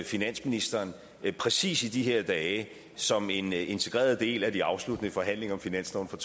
finansministeren præcis i det her dage som en integreret del af de afsluttende forhandlinger om finansloven for